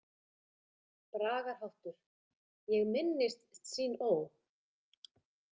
Bragarháttur: „Ég minnist Tsín Ó“.